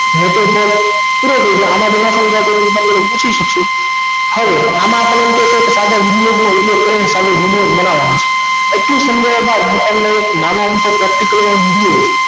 આમાંથી ના સમજાય તો મને પૂછી શકો આમાં આપણે video જ બનાવાનો છે આટલું સમજાવ્યા બાદ તમને નાનું અમથું practical નો video